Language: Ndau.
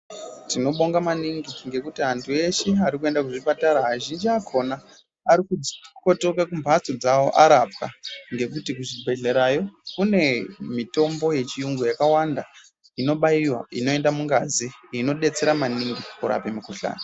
Tinobonga mainingi ngekuti antu eshe arikuenda kuchipatara azhinji akona arikukotoka kumbatso dzawo arapwa ngekuti kuzvibhedhlerayo kune mitombo yechiyungu yakawanda inobaiwa inoenda mungazi inodetsera maningi kurape mikuhlani.